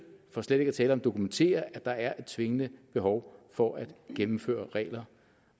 for slet ikke at tale om dokumenterer at der er et tvingende behov for at gennemføre regler